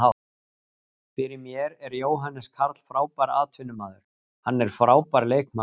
Fyrir mér er Jóhannes Karl frábær atvinnumaður, hann er frábær leikmaður.